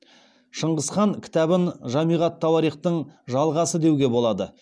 шыңғыз хан кітабын жамиғ ат тауарихтың жалғасы деуге болады